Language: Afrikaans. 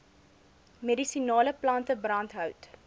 medisinale plante brandhout